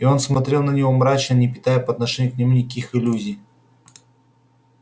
и он смотрел на него мрачно не питая по отношению к нему никаких иллюзий